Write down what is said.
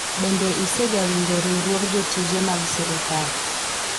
bende isega winjo riwruog jotije mag sirikal ?